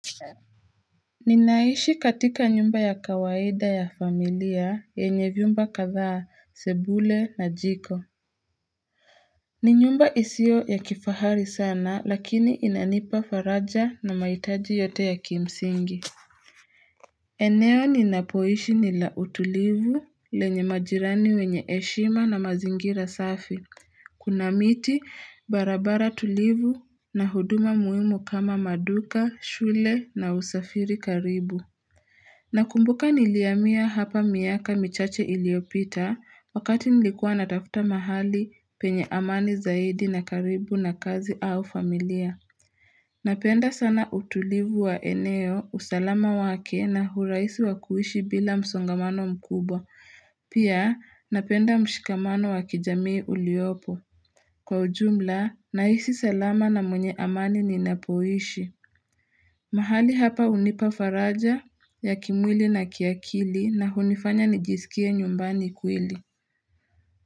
Ninaishi katika nyumba ya kawaida ya familia yenye vyumba kadhaa sebule na jiko ni nyumba isio ya kifahari sana lakini inanipafaraja na maitaji yote ya kimsingi eneo ninapoishi ni la utulivu lenye majirani wenye eshima na mazingira safi Kuna miti barabara tulivu na huduma muhimu kama maduka shule na usafiri karibu Nakumbuka nilihamia hapa miaka michache iliopita wakati nilikua natafuta mahali penye amani zaidi na karibu na kazi au familia. Napenda sana utulivu wa eneo, usalama wake na huraisi wa kuishi bila msongamano mkubwa. Pia napenda mshikamano wa kijamii uliopo. Kwa ujumla, nahisi salama na mwenye amani ninapoishi. Mahali hapa hunipa faraja ya kimwili na kiakili na hunifanya nijisikie nyumbani kwili.